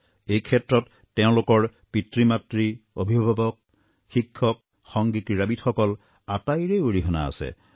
এই ক্ষেত্ৰত তেওঁলোকৰ পিতৃমাতৃ অভিভাৱক শিক্ষক সংগী ক্ৰীড়াবিদসকল আটাইৰে অৰিহণা আছে